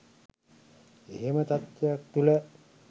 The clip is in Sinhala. එහෙම තත්ත්වයක් තුළ